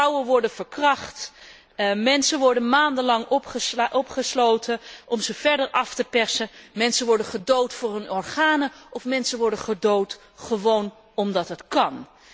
Vrouwen worden verkracht, mensen worden maandenlang opgesloten om ze verder af te persen, mensen worden gedood voor hun organen of mensen worden gedood gewoon omdat dat kan.